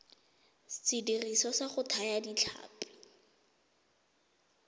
sediriswa sa go thaya ditlhapi